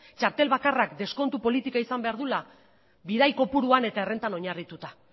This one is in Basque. txartel bakarrak deskontu politika izan behar duela bidai kopuruan eta errentak oinarrituta